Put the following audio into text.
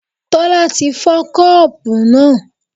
Tola ti fọ́ Kọ́ọ̀bù náà.